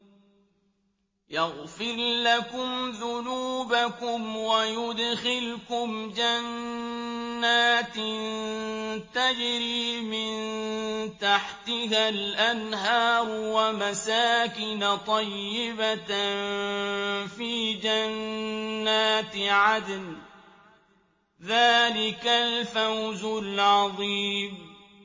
يَغْفِرْ لَكُمْ ذُنُوبَكُمْ وَيُدْخِلْكُمْ جَنَّاتٍ تَجْرِي مِن تَحْتِهَا الْأَنْهَارُ وَمَسَاكِنَ طَيِّبَةً فِي جَنَّاتِ عَدْنٍ ۚ ذَٰلِكَ الْفَوْزُ الْعَظِيمُ